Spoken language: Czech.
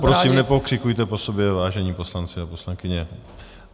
Prosím, nepokřikujte po sobě, vážení poslanci a poslankyně.